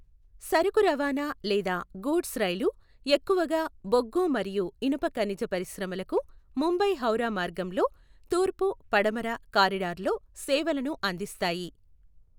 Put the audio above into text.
సరుకు రవాణా లేదా గూడ్స్ రైళ్లు ఎక్కువగా బొగ్గు మరియు ఇనుప ఖనిజ పరిశ్రమలకు ముంబై హౌరా మార్గంలో తూర్పు పడమర కారిడార్లో సేవలను అందిస్తాయి.